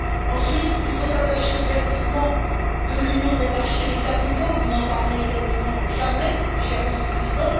Ensuite, il faut s'attacher au verdissement de l'union des marchés des capitaux vous n'en parlez quasiment jamais, cher Vice président.